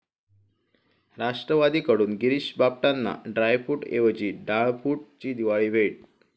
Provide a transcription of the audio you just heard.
राष्ट्रवादीकडून गिरीष बापटांना ड्रायफूटऐवजी 'डाळफूट'ची दिवाळी भेट